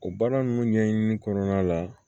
O baara ninnu ɲɛɲini kɔnɔna la